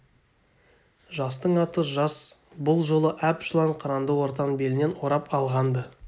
жастың аты жас бұл жолы әп жылан қыранды ортан белінен орап алған-ды